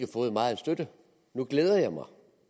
fået meget støtte nu glæder jeg mig